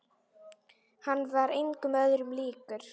Hann var engum öðrum líkur.